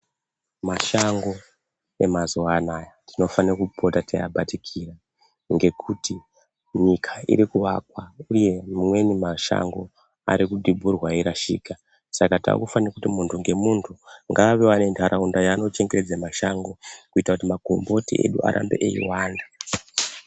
Mashango emazuva anaya tinofana kupota tei abatikira ngekutu nyika iri kuvakwa uye mamweni mashango ari kudhibhurwa eyi rashika saka takufane kuti muntu nge muntu ngavawewo ane ndaraunda yaano chengetedza mashango kuita kuti makomboti edu arambe eyi wanda.